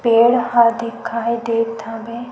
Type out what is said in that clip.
पेड़ ह दिखाई देत हवे।